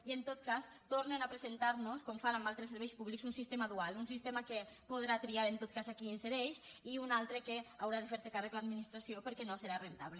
i en tot cas tornen a presentar nos com fan en altres serveis públics un sistema dual un sistema que podrà triar en tot cas a qui insereix i un altre del qual haurà de fer se càrrec l’administració perquè no serà rendible